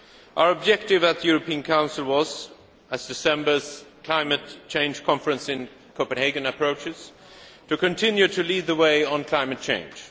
Our objective at the European Council was as December's Climate Change Conference in Copenhagen approaches to continue to lead the way on climate change.